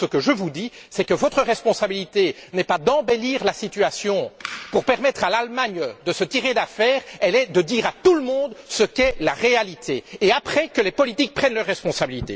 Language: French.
Ce que je veux vous dire, c'est que votre responsabilité n'est pas d'embellir la situation pour permettre à l'Allemagne de se tirer d'affaire, elle est de dire à tout le monde ce qu'est la réalité. Ensuite, que les politiques prennent leurs responsabilités.